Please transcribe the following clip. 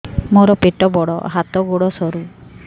ମୋର ପେଟ ବଡ ହାତ ଗୋଡ ସରୁ